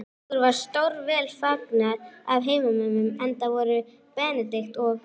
Okkur var stórvel fagnað af heimamönnum, enda voru Benedikt og